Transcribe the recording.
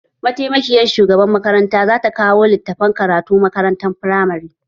Mataimakiyar shugabar makaranta zata kawo litattafan karatu ma makarantun firamare.